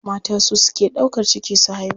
Mata su suke ɗaukar ciki su haihu.